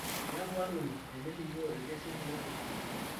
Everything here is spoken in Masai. Miaku arruoni tinilikioo ilkesin toolpolisi